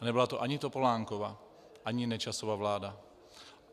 A nebyla to ani Topolánkova ani Nečasova vláda.